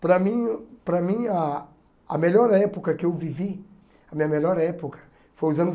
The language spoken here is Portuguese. Para mim para mim, ah a melhor época que eu vivi, a minha melhor época, foi os anos